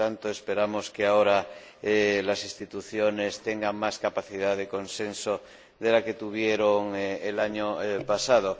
Por tanto, esperamos que ahora las Instituciones tengan más capacidad de consenso de la que tuvieron el año pasado.